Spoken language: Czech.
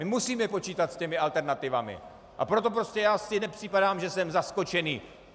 My musíme počítat s těmi alternativami, a proto prostě já si nepřipadám, že jsem zaskočený.